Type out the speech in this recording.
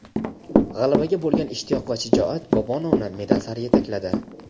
G‘alabaga bo‘lgan ishtiyoq va shijoat Bobonovni medal sari yetakladi.